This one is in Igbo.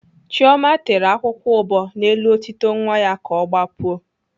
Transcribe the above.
Chioma tere akwụkwọ ụbọ n'elu otito nwa ya ka ọ gbapuo